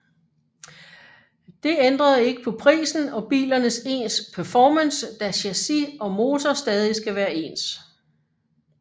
Det ændrede ikke på prisen og bilernes ens performance da chassis og motor stadig skal være ens